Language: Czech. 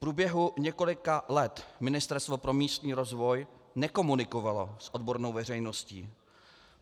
V průběhu několika let Ministerstvo pro místní rozvoj nekomunikovalo s odbornou veřejností.